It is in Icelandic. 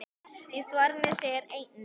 Í svarinu segir einnig